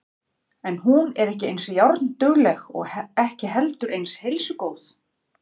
En hún er ekki eins járndugleg og ekki heldur eins heilsugóð.